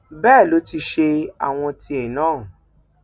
bẹẹ ló ti ṣe àwọn tìẹ náà